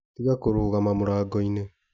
Tiga kũrũgama mũrango-inĩ